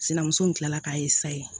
Sinamuso in kilala k'a ye sa ye